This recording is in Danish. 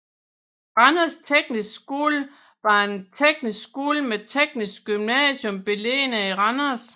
Randers Tekniske Skole var en teknisk skole med teknisk gymnasium beliggende i Randers